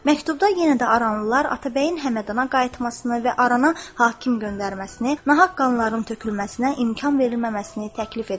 Məktubda yenə də aranlılar Atabəyin Həmədana qayıtmasını və arana hakim göndərməsini, nahaq qanların tökülməsinə imkan verilməməsini təklif edirdilər.